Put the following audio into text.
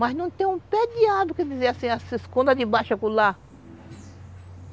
Mas não tem um pé de árvore, quer dizer, assim, se esconda de baixo acolá.